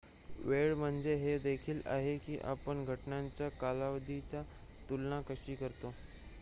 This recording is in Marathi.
वेळ म्हणजे हे देखील आहे की आपण घटनांच्या कालावधीची लांबी तुलना कशी करतो